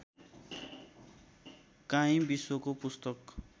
काहीँ विश्वको पुस्तक